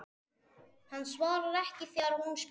Hann svarar ekki þegar hún spyr.